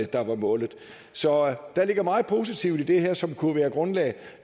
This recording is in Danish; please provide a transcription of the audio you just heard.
der var målet så der ligger meget positivt i det her som kunne være grundlag